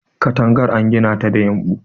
katagar an gina ta da yumbu